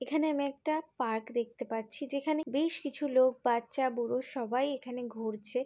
এখানে আমি একটা পার্ক দেখতে পাচ্ছি যেখানে বেশ কিছু লোক বাচ্চা বুড়ো সবাই এখানে ঘুরছে।